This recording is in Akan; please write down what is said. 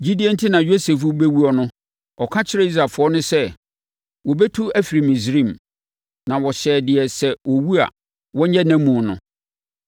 Gyidie enti na Yosef rebɛwuo no, ɔka kyerɛɛ Israelfoɔ sɛ, wɔbɛtu afiri Misraim, na ɔhyɛɛ deɛ sɛ ɔwu a, wɔnyɛ nʼamu no.